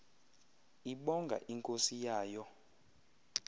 ibonga inkosi yayo